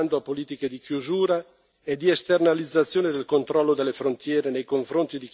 e di esternalizzazione del controllo delle frontiere nei confronti di chi fugge da guerra e miseria.